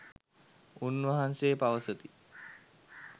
උන්වහන්සේ පවසති.